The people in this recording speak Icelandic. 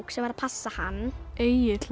sem var að passa hann Egill